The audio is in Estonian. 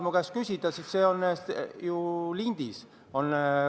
Kui sa tahad teada, siis see koosolek on ju lindis.